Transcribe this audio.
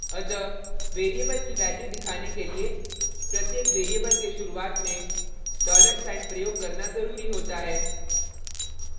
अतः variable की value दिखाने के लिए प्रत्येक variable के शुरुआत में dollar साइन $ प्रयोग करना ज़रूरी होता है